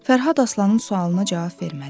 Fərhad Aslanın sualına cavab vermədi.